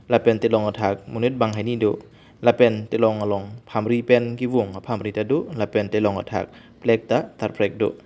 lapen telong athak monit bang hini do lapen telong along phamri pen kevung aphamri tado lapen telong athak falg ta tar phrek do.